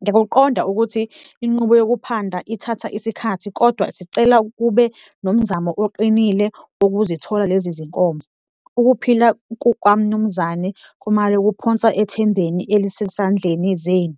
Ngiyakuqonda ukuthi inqubo yokuphanda ithatha isikhathi kodwa sicela kube nomzamo oqinile ukuzithola lezi zinkomo, ukuphila kukaMnumzane Khumalo kuphonswa ethembeni elisesandleni zenu.